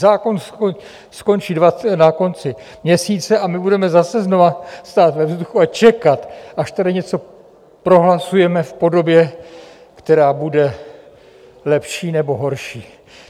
Zákon skončí na konci měsíce a my budeme zase znova stát ve vzduchu a čekat, až tady něco prohlasujeme v podobě, která bude lepší nebo horší.